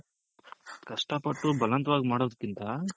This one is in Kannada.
ಕಷ್ಟ ಪಟ್ಟು ಬಲವಂತವಾಗಿ ಮಾಡೋದ್ಕಿಂತ.